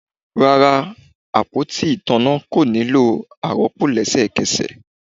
Rara, apoti itanna ko nilo aropo lẹsẹkẹsẹ